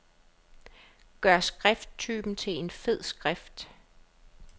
Gør skrifttypen til fed skrift.